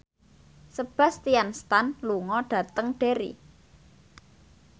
Sebastian Stan lunga dhateng Derry